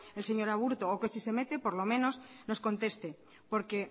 el señor aburto o que si se mete por lo menos nos conteste porque